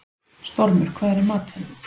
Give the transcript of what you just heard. Stormur, hvað er í matinn?